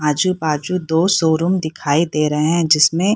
आजू बाजू दो शोरूम दिखाई दे रहे है जिसमें --